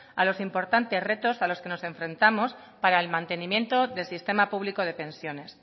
a los importantes retos a los que nos enfrentamos para el mantenimiento del sistema público de pensiones